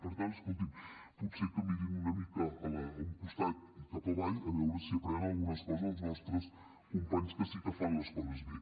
per tant escolti’m potser que mirin una mica a un costat i cap avall a veure si aprenen algunes coses dels nostres companys que sí que fan les coses bé